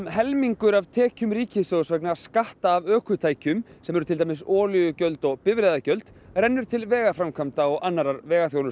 helmingur af tekjum ríkissjóðs vegna skatta af ökutækjum sem eru til dæmis olíugjöld og bifreiðagjöld rennur til vegaframkvæmda og annarrar